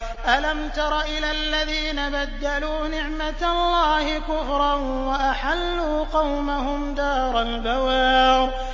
۞ أَلَمْ تَرَ إِلَى الَّذِينَ بَدَّلُوا نِعْمَتَ اللَّهِ كُفْرًا وَأَحَلُّوا قَوْمَهُمْ دَارَ الْبَوَارِ